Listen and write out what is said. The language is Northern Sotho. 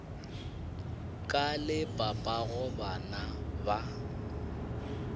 ka le papago bana ba